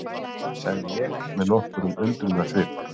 sagði ég með nokkrum undrunarsvip.